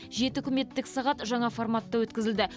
жеті үкіметтік сағат жаңа форматта өткізілді